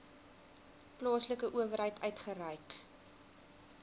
plaaslike owerheid uitgereik